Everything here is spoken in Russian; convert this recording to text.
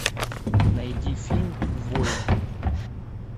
найди фильм воин